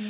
۞